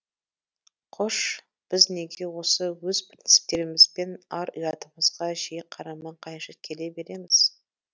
қош біз неге осы өз принциптеріміз бен ар ұятымызға жиі қарама қайшы келе береміз